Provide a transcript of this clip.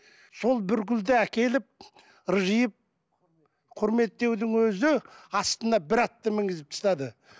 сол бір гүлді әкеліп ыржиып құрметтеудің өзі астына бір атты мінгізіп тастады